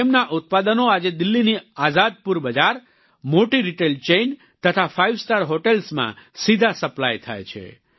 તેમના ઉત્પાદનો આજે દિલ્હીની આઝાદપુર બજાર મોટી રિટેલ ચેઈન તથા ફાઈવસ્ટાર હોટલ્સમાં સીધા સપ્લાય થાય છે